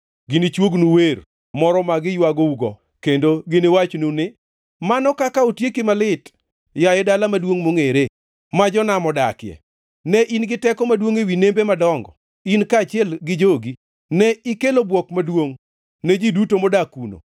Ginichuognu wer moro ma giywagougo, kendo giniwachnu ni: “ ‘Mano kaka otieki malit, yaye dala maduongʼ mongʼere, ma jonam odakie! Ne in gi teko maduongʼ ewi nembe madongo, in kaachiel gi jogi; ne ikelo bwok maduongʼ ne ji duto modak kuno.